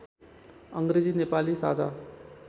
अङ्ग्रेजी नेपाली साझा